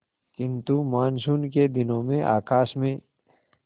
किंतु मानसून के दिनों में आकाश में